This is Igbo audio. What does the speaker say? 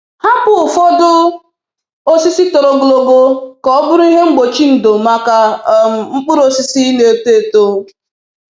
Hapụ ụfọdụ osisi toro ogologo ka ọ bụrụ ihe mgbochi ndo maka um mkpụrụ osisi na-eto eto.